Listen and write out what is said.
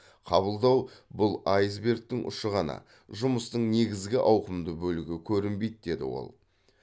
қабылдау бұл айсбергтің ұшы ғана жұмыстың негізгі ауқымды бөлігі көрінбейді деді ол